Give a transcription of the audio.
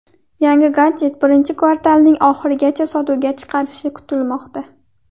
Yangi gadjet birinchi kvartalning oxirigacha sotuvga chiqarilishi kutilmoqda.